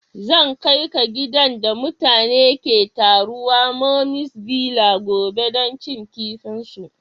Zan kai ka gidan da mutane ke taruwa mummy's villa gobe dan cin kifin su.